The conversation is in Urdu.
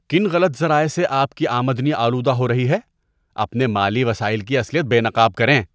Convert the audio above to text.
کن غلط ذرائع سے آپ کی آمدنی آلودہ ہو رہی ہے؟ اپنے مالی وسائل کی اصلیت بے نقاب کریں۔